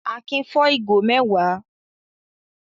Akin fọ́ ìgò mẹ́wàá.